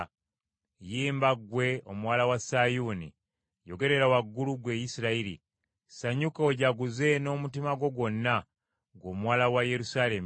Yimba, ggwe omuwala wa Sayuuni; yogerera waggulu, ggwe Isirayiri; sanyuka ojaguze n’omutima gwo gwonna, ggwe omuwala wa Yerusaalemi.